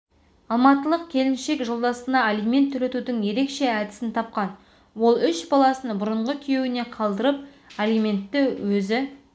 алматылық келіншек жолдасына алимент төлетудің ерекше әдісін тапқан ол үш баласын бұрынғы күйеуіне қалдырып алиментті өзі